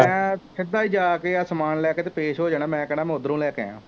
ਮੈਂ ਸਿੱਧਾ ਹੀ ਜਾ ਕੇ ਆਹ ਸਮਾਨ ਲੈ ਕੇ ਅਤੇ ਪੇਸ਼ ਹੋ ਜਾਣਾ ਮੈਂ ਕਹਿਣਾ ਮੈਂ ਉੱਧਰੋ ਂਲੈ ਕੇ ਆਇਆਂ